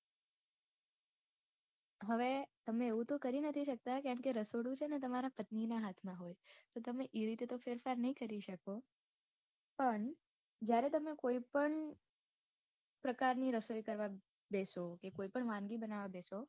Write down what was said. હવે તમે એવું તો કરી નથી શકતા કારણકે રસોડુ છે ને તમારા પત્નીના હાથમાં હોય તો તમે એ રીતે તો ફેરફાર નહીં કરી શકો પણ જ્યારે તમે કોય પણ પ્રકારની રસોઈ કરવા બેસો કે કોઇ પણ વાનગી બનાવા બેસો.